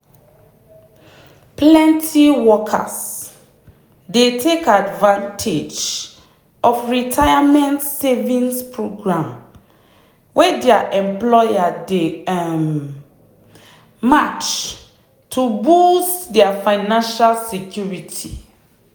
plenty workers dey take advantage of retirement savings program wey their employer dey um match to boost their financial security.